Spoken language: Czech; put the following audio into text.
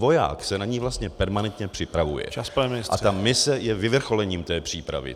Voják se na ni vlastně permanentně připravuje a ta mise je vyvrcholením té přípravy.